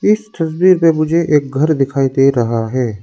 इस तस्वीर में मुझे एक घर दिखाई दे रहा है।